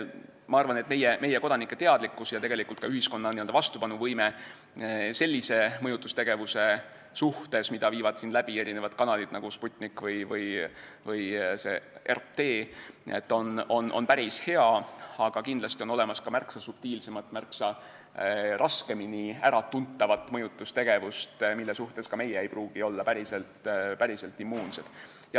Ma arvan, et meie kodanike teadlikkus ja ka ühiskonna n-ö vastupanuvõime sellise mõjutustegevuse suhtes, mida viivad siin läbi mitmed kanalid, nagu Sputnik või RT, on päris hea, aga kindlasti on olemas ka märksa subtiilsemat, märksa raskemini äratuntavat mõjutustegevust, mille suhtes ka meie ei pruugi olla päris immuunsed.